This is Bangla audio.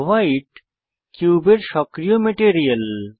ভাইট কিউবের সক্রিয় মেটেরিয়াল